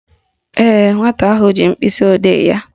Ee, nwata ahụ ji mkpịsịodee ya